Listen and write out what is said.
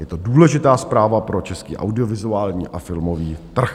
Je to důležitá zpráva pro český audiovizuální a filmový trh.